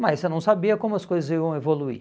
Mas você não sabia como as coisas iam evoluir.